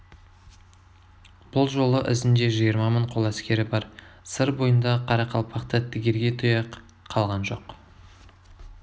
бұл жолы ізінде жиырма мың қол әскері бар сыр бойындағы қарақалпақта тігерге тұяқ қалған жоқ